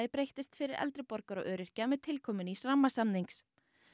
breyttist fyrir eldri borgara og öryrkja með tilkomu nýs rammasamnings